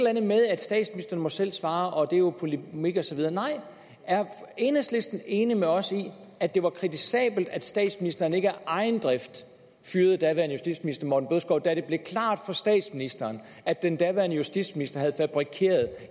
andet med at statsministeren selv må svare og at det jo er polemik og så videre nej er enhedslisten enig med os i at det var kritisabelt at statsministeren ikke af egen drift fyrede daværende justitsminister herre morten bødskov da det blev klart for statsministeren at den daværende justitsminister havde fabrikeret